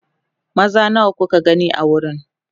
maza nawa kuka gani a wurin